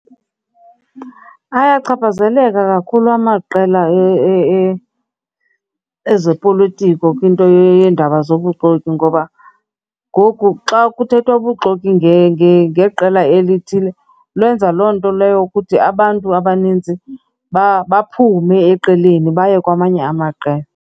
Ayachaphazeleka kakhulu amaqela ezopolitiko kwinto yeendaba nobuxoki ngoba ngoku xa kuthethwa bubuxoki ngeqela elithile, lwenza loo nto leyo ukuthi abantu abaninzi baphume eqeleni baye kwamanye amaqela.